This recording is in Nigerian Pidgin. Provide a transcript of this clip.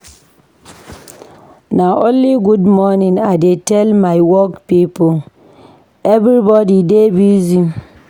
Na only good morning I dey tell my work pipo, everbodi dey busy.